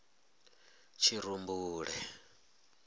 tshirumbule